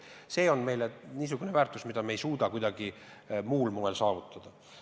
See on meile niisugune väärtus, mida me ei suuda kuidagi muul moel saavutada.